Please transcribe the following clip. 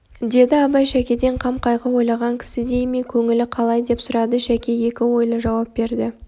деді абай шәкеден қам-қайғы ойлаған кісідей ме көңілі қалай деп сұрады шәке екі ойлы жауап берді